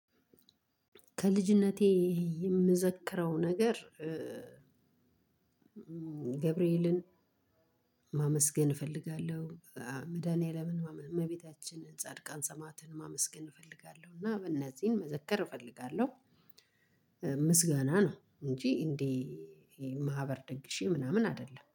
ከልጅነቴ የምዘክረው ነገር ገብርኤልን ማመስገን እፈልጋለሁ። መድኃኒዓለምን እመቤታችን ጻድቃን ሰማዕትን ማመስገን እፈልጋለሁ እና እነዚህን መዘከር እፈልጋለሁ። ምስጋና ነው እንጂ እንደ ማህበር ደግሼ ምናምን አይደለም